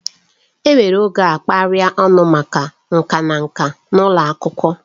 Enwere oge a kapịrị ọnụ maka nka na nka n'ụlọ akwụkwọ